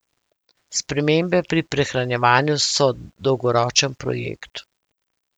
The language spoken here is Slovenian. Spremembe pri prehranjevanju so dolgoročen projekt.